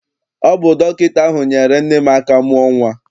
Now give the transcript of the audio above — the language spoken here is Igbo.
Ọ bụ dọkịta ahụ nyeere nne m aka mụọ nnwa.